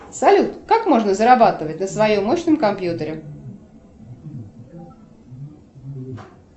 салют как можно зарабатывать на своем мощном компьютере